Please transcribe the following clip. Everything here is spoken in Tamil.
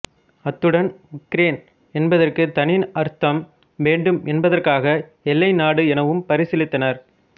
அத்துடன் உக்ரேன் என்பதற்கு தனி அர்த்தம் வேண்டும் என்பதற்காக எல்லைநாடு எனவும் பரிசீலித்தனர்